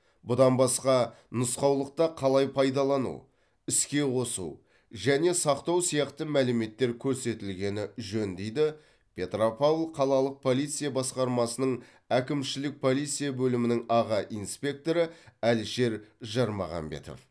бұдан басқа нұсқаулықта қалай пайдалану іске қосу және сақтау сияқты мәліметтер көрсетілгені жөн дейді петропавл қалалық полиция басқармасының әкімшілік полиция бөлімінің аға инспекторы әлішер жармағанбетов